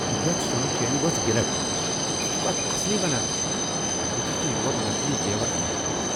یتھ سۄنہٕ چینہ ؤژھ گلٹھ، تہٕ ژٕ چھکھٕ اتھ اصلی ونان؟ بہٕ چھس نہٕ یور نقلی زیور انٛنہ آمت ۔